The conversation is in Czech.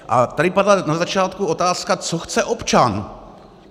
A tady padla na začátku otázka, co chce občan.